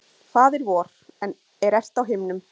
Faðir vor, er ert á himnum.